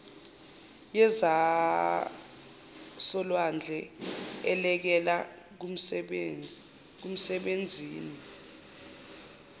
yezasolwandle elekela kumsebenzini